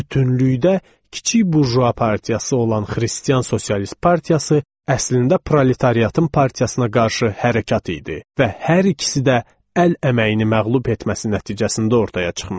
Bütünlükdə kiçik burjua partiyası olan xristian sosialist partiyası əslində proletaryatın partiyasına qarşı hərəkət idi və hər ikisi də əl əməyini məğlub etməsi nəticəsində ortaya çıxmışdı.